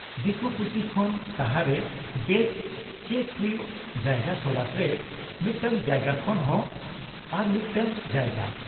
ᱫᱤᱠᱩ ᱯᱩᱥᱤ ᱠᱷᱚᱱ ᱥᱟᱦᱟᱨᱮ ᱵᱮᱥ ᱪᱮᱥ ᱦᱩᱭᱩᱜ ᱡᱟᱭᱜᱟ ᱛᱚᱞᱟᱥ ᱨᱮ ᱢᱤᱫᱴᱟᱝ ᱡᱟᱭᱜᱟ ᱠᱷᱚᱱ ᱦᱚᱸ ᱟᱨᱢᱤᱫᱴᱟᱝ ᱡᱟᱭᱜᱟ ᱾